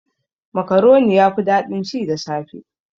Makaroni yafi daɗin ci da safe.